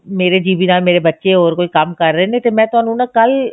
ਮੇਰੇ GB ਦਾ ਮੇਰੇ ਬੱਚੇ ਹੋਰ ਕੋਈ ਕੰਮ ਕਰ ਰਹੇ ਨੇ ਤੇ ਮੈਂ ਤੁਹਾਨੂੰ ਨਾ ਕੱਲ